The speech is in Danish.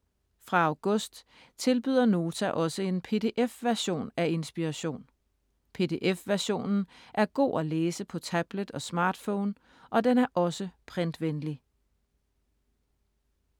Fra august tilbyder Nota også en PDF-version af Inspiration. PDF-versionen er god at læse på tablet og smartphone, og den er også printvenlig.